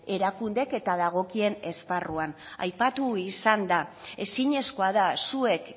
erakundeek eta dagokien esparruan aipatu izan da ezinezkoa da zuek